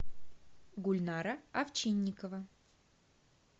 гульнара овчинникова